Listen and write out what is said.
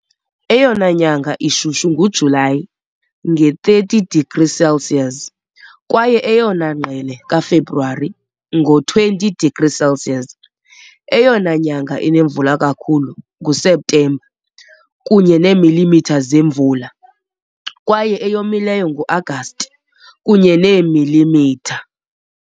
Eyona nyanga ishushu nguJulayi, nge-30 degrees Celsius, kwaye eyona ngqele kaFebruwari, ngo-20 degrees Celsius. Eyona nyanga inemvula kakhulu nguSeptemba, kunye ne millimeters yemvula, kwaye eyomileyo nguAgasti, kunye neemilimitha .